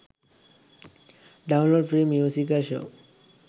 download free musical show